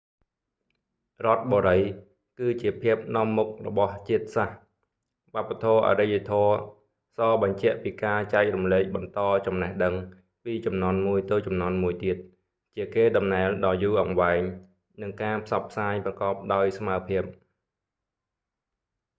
រដ្ឋបុរី គឺជាភាពនាំមុខរបស់ជាតិសាសន៍ វប្បធម៌អរិយធម៌ សរបញ្ជាក់ពីការចែករំលែកបន្តចំណេះដឹង ពីជំនាន់មួយទៅជំនាន់មួយទៀត ជាកេរ្តិ៍ដំណែលដ៏យូរអង្វែង និងការផ្សព្វផ្សាយប្រកបដោយស្មើភាព